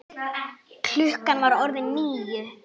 Klukkan var orðin níu.